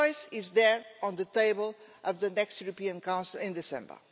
The choice is there on the table of the next European Council in December.